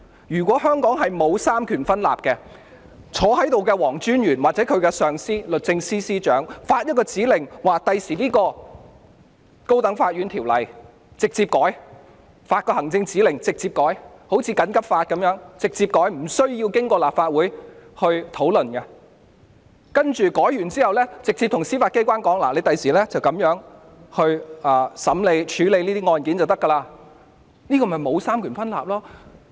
如果香港真的沒有三權分立，由在席的黃專員或其上司律政司司長發出行政指令，以後便能直接修改《高等法院條例》，就如《緊急情況規例條例》一樣，可以直接修改而無須經過立法會審議，修改後再指示司法機關以後這樣處理案件便可，這才是沒有三權分立的情況。